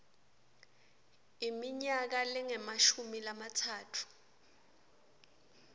iminyaka lengemashumi lamatsatfu